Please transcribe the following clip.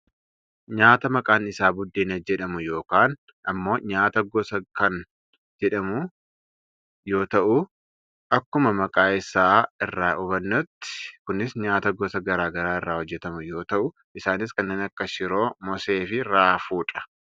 nyaata maqaan isaa buddeena jedhamu yookaan ammoo nyaata gos gosaa kan jedhamu yoo ta'u akkuma maqaa isaa irraa hubannutti kunis nyaata gosa gara garaa irraa hojjatamu yoo ta'u isaanis kanneen akka shiroo, moosee fi raafuudha.